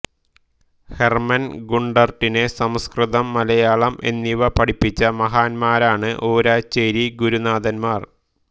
Hermann ഗുണ്ടർട്ടിനെ സംസ്കൃതം മലയാളം എന്നിവ പഠിപ്പിച്ച മഹാന്മാരാണ് ഊരാച്ചേരി ഗുരുനാഥൻമാർ